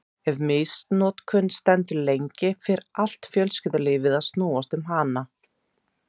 Ef misnotkunin stendur lengi fer allt fjölskyldulífið að snúast um hana.